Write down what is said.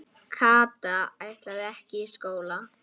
Kata ætlaði ekki í skóla.